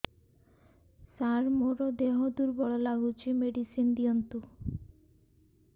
ସାର ମୋର ଦେହ ଦୁର୍ବଳ ଲାଗୁଚି ମେଡିସିନ ଦିଅନ୍ତୁ